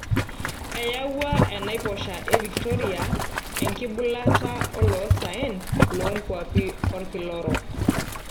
Eyawua enaiposha e Victoria enkibulata oloosaen loonkwapi olkila orok.